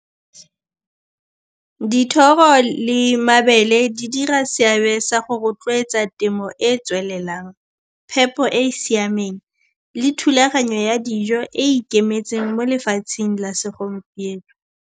Dithoro le mabele di dira seabe sa go rotloetsa temo e e tswelelang, phepo e e siameng le thulaganyo ya dijo e e ikemetseng mo lefatsheng la segompieno.